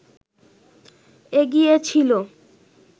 এগিয়ে ছিল